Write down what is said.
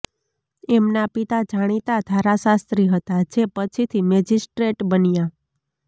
એમના પિતા જાણીતા ધારાશાસ્ત્રી હતા જે પછીથી મેજિસ્ટ્રેટ બન્યા